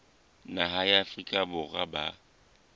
naha ya afrika borwa ba